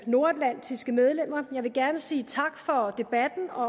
nordatlantiske medlemmer jeg vil gerne sige tak for debatten og